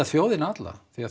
þjóðina alla því